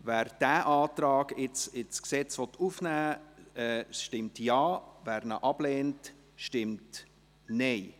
Wer diesen Antrag ins Gesetz aufnehmen will, stimmt Ja, wer dies ablehnt, stimmt Nein.